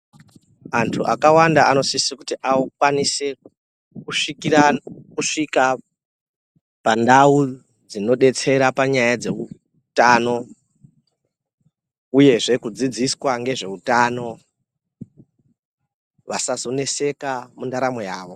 Antu akawanda anosisa kuti akwanise kusvika pandau dzinodetsera panyaya dzeutano uyezve kudzidziswa ngezveutano vasazoneseka mundaramo mavo.